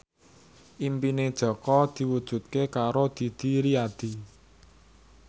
impine Jaka diwujudke karo Didi Riyadi